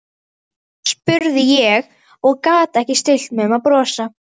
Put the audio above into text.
spurði ég og gat ekki stillt mig um að brosa.